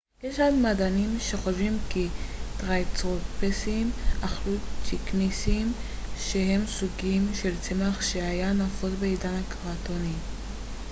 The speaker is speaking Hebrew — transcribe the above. יש מדענים שחושבים כי טרייצרטופסים אכלו ציקסינים שהם סוג של צמח שהיה נפוץ בעידן הקרטוני